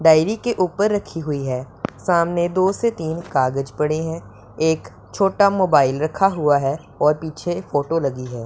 Diary के ऊपर रखी हुई है सामने दो से तीन कागज पड़े है एक छोटा मोबाइल लगा हुआ है और पीछे एक फोटो लगी है।